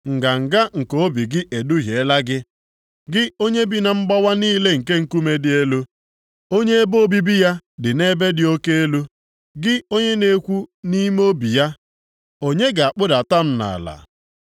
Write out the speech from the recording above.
Nganga nke obi gị eduhiela gị, gị onye bi na mgbawa niile nke nkume dị elu, onye ebe obibi ya dị nʼebe dị oke elu. Gị onye na-ekwu nʼime obi ya, ‘Onye ga-akpụdata m nʼala?’